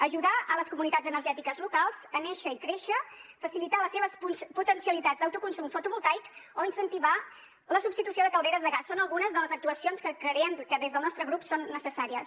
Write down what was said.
ajudar les comunitats energètiques locals a néixer i créixer facilitar les seves potencialitats d’autoconsum fotovoltaic o incentivar la substitució de calderes de gas són algunes de les actuacions que creiem que des del nostre grup són necessàries